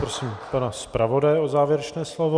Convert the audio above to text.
Prosím pana zpravodaje o závěrečné slovo.